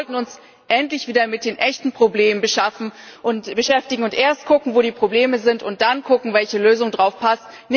Wir sollten uns endlich wieder mit den echten Problemen beschäftigen und erst gucken, wo die Probleme sind, und dann gucken, welche Lösung darauf passt.